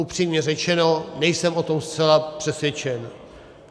Upřímně řečeno, nejsem o tom zcela přesvědčen.